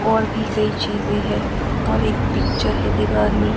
और भी कई चीज है और एक पिक्चर है दीवार में--